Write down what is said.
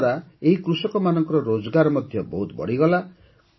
ଏହାଦ୍ୱାରା ଏହି କୃଷକମାନଙ୍କର ରୋଜଗାର ମଧ୍ୟ ବହୁତ ବଢ଼ିଗଲା